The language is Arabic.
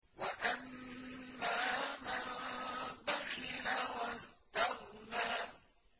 وَأَمَّا مَن بَخِلَ وَاسْتَغْنَىٰ